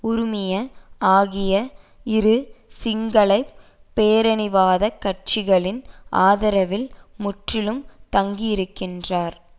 உறுமய ஆகிய இரு சிங்கள பேரினவாத கட்சிகளின் ஆதரவில் முற்றிலும் தங்கியிருக்கின்றார்